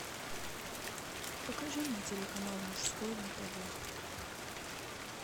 покажи мне телеканал мужской на тв